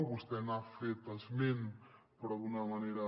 vostè n’ha fet esment però d’una manera